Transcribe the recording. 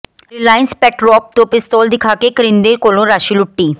Reliance ਪੈਟਰੋਪ ਤੋਂ ਪਿਸਤੌਲ ਦਿਖਾ ਕੇ ਕਰਿੰਦੇ ਕੋਲੋਂ ਰਾਸ਼ੀ ਲੁੱਟੀ